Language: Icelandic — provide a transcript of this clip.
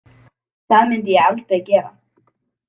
Það myndi ég aldrei gera